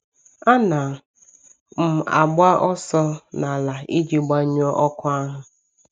A na m agba ọsọ n’ala iji gbanyụọ ọkụ ahụ.